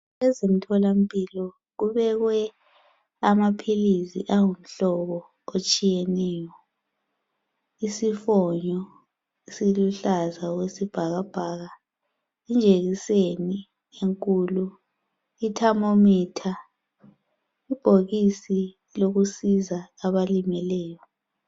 EZemtholampilo kubekwe amaphilisi angumhlobo otshiyeneyo . Isifonyo esiluhlaza okwesibhakabhaka, ijekiseni enkulu ,ithamomitha .Ibhokisi lokusiza abalimeleyo.